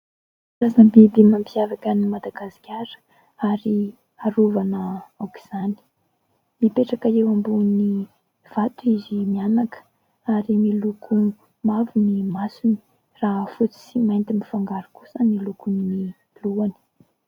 Karazam-biby mampiavaka an'i Madagasikara ary arovana aok'izany. Mipetraka eo ambonin'ny vato izy mianaka, ary miloko mavo ny masony raha fotsy sy mainty mifangaro kosa ny lokon'ny lohany.